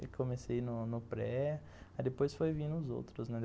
Eu comecei no no pré, aí depois foi vindo os outros.